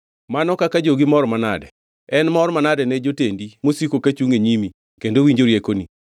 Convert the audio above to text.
Mano kaka jogi mor manade! En mor manade ne jotendi mosiko kachungʼ e nyimi kendo winjo riekoni!